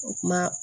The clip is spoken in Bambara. O kuma